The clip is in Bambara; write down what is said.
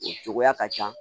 O cogoya ka ca